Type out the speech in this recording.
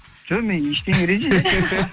жоқ мен ештеңе